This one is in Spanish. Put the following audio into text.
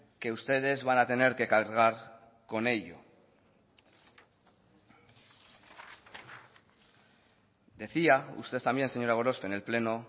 que ustedes van a tener que cargar con ello decía usted también señora gorospe en el pleno